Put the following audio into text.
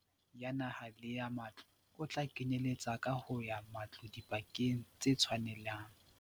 Mokgahlelo wa kahobotjha ya naha le ya matlo o tla kenyeletsa kaho ya matlo dibakeng tse tshwanelang.